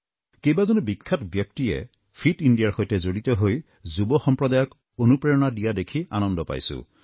কেইবাজনো বিখ্যাত ব্যক্তিয়ে ফিট ইণ্ডিয়াৰ সৈতে জড়িত হৈ যুৱ সম্প্ৰদায়ক অনুপ্ৰেৰণা দিয়া দেখি আনন্দ পাইছোঁ